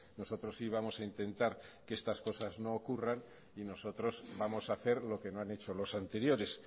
nosotros sí vamos a intentar que estas cosas no ocurran y nosotros vamos a hacer lo que no han hecho los anteriores